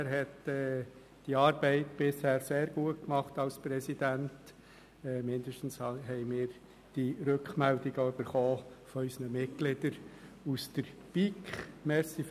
Er hat diese Arbeit als Präsident bisher sehr gut gemacht, zumindest haben wir diese Rückmeldungen von unseren Mitgliedern aus der BiK erhalten.